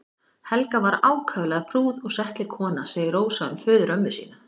Helga var ákaflega prúð og settleg kona segir Rósa um föðurömmu sína.